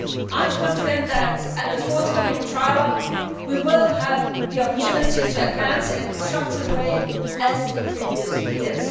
I am confident that at the forthcoming trilogue we will have the opportunity to advance in a constructive way, as in previous years.